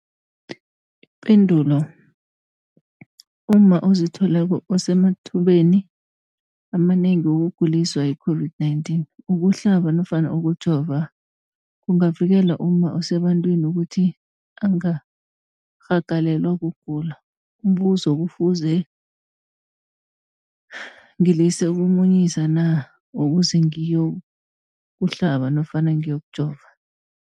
Ipendulo, umma ozithweleko usemathubeni amanengi wokuguliswa yi-COVID-19. Ukuhlaba nofana ukujova kungavikela umma osebantwini ukuthi angarhagalelwa kugula. Umbuzo, kufuze ngilise ukumunyisa na ukuze ngiyo kuhlaba nofana ngiyokujova?